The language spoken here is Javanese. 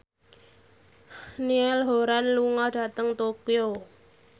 Niall Horran lunga dhateng Tokyo